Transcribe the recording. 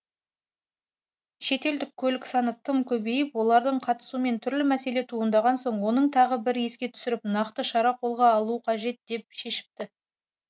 шетелдік көлік саны тым көбейіп олардың қатысуымен түрлі мәселе туындаған соң оны тағы бір еске түсіріп нақты шара қолға алу қажет деп шешіпті